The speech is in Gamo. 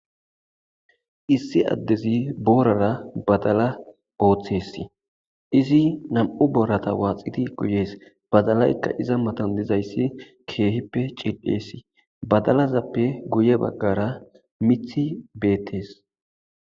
Issi addezi boorara badala ooththessi izi nam'u boorata waaxiti guyees badalaykka iza matan dizayssi keehippe cil'essi badalazappe guye baggara mithi beettes.